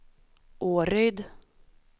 Åryd